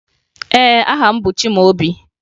Ee, aha m bụ Chimaobi